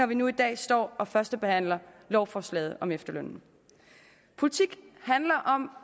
vi nu i dag står og førstebehandler lovforslaget om efterlønnen politik handler om